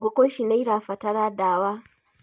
Ngũkũ ici nĩirabatara ndawa